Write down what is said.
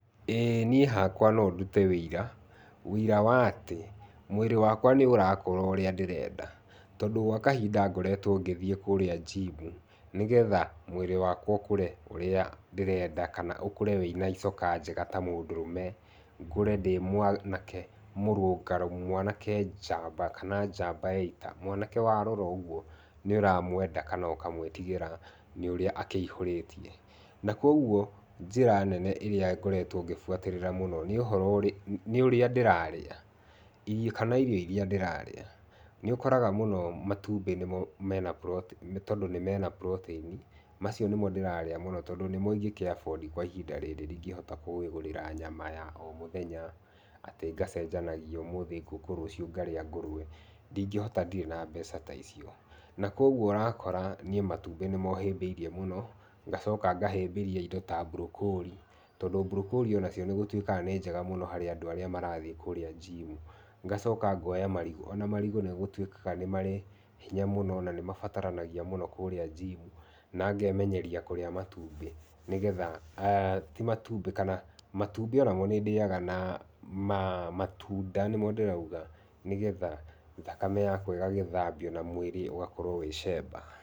ĩ niĩ hakwa no ndũte ũira, ũira wa atĩ mwĩrĩ wakwa nĩũrakũra ũrĩa ndĩrenda, tondũ gwa kahinda ngoretwo ngĩthiĩ kũrĩa njimu, nĩgetha mwĩrĩ wakwa ũkũre ũrĩa ndĩrenda kana ũkũre wĩna icoka njega ta mũndũrũme, ngũre ndĩ mwanake mũrũngarũ mwanake njamba kana njamba ya ita, mwanake warora ũgũo nĩũramwenda kana ũkamwĩtigĩra nĩũrĩa akĩihũrĩtie, na kogũo njĩra nene ĩrĩa ngoretwo ngĩbuatĩrĩra mũno nĩ ũhoro ũrĩ, nĩũrĩa ndĩraria i kana irio iria ndĩrarĩa, nĩũkoraga mũno matũmbĩ nimo mena protein tondũ mena protein macio nĩmo ndĩrarĩa mũno tondũ nĩmo ingĩkĩabondi kwa ihinda rĩrĩ ndingĩhota kwĩ gũrĩra nyama ya o mũthenya, atĩ ngacenjanagia ũmũthi ngũkũ, rũciũ ngarĩa ngũrũwe, ndingĩhota ndĩre na mbeca ta icio na kogũo ũrakora niĩ matũmbĩ nĩmo hĩmbĩirie mũno, ngacoka ngahĩmbĩria indo ta broccolli, tondũ broccolli onacio nĩgũtũĩkaga nĩ njega mũno harĩa andũ arĩa marathiĩ kũrĩa njimu. Ngacoka ngoya marigũ, ona marigũ nĩgũtũĩkaga nĩ marĩ hinya mũno na nĩmabataranagia kũrĩa njimu na ngemenyeria kũrĩa matũmbĩ, nĩgetha ti matũmbĩ kana matũmbĩ onamo nĩndĩaga na ma matunda nĩmo ndĩrauga, nĩgetha thakame yakwa ĩgagĩthambio na mwĩrĩ ũgakorwo wĩ cemba.